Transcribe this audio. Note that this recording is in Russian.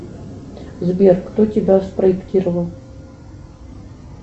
сбер кто тебя спроектировал